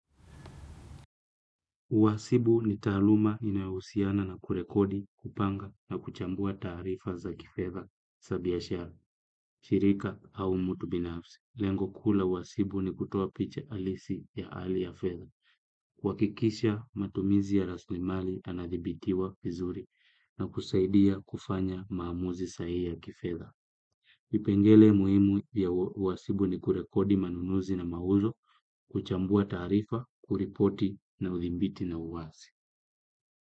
Uwasibu ni taaluma inayo husiana na kurekodi, kupanga na kuchambua taarifa za kifedha sa biashara, shirika au mtu binafsi. Lengo kuu la uwasibu ni kutoa picha alisi ya ali ya fedha. Kuhakikisha, matumizi ya raslimali anadhibitiwa vizuri na kusaidia kufanya maamuzi sahihi ya kifedha. Kipengele muimu ya uwasibu ni kurekodi manunuzi na mauzo, kuchambua taarifa, kuripoti na udhibiti na uwasi.